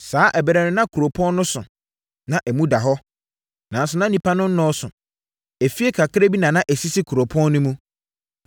Saa ɛberɛ no na kuropɔn no so, na emu da hɔ, nanso na nnipa no nnɔɔso. Afie kakra bi na na ɛsisi kuropɔn no mu.